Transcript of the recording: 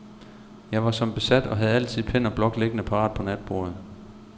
Jeg var som besat, og havde altid pen og blok liggende parat på natbordet.